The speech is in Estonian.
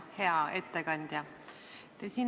Hea ettekandja!